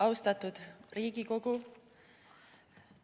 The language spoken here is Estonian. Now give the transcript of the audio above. Austatud Riigikogu!